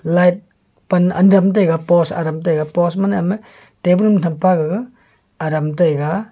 light pan adam taiga post adam taiga post mane table ma tham pa gaga adam taiga.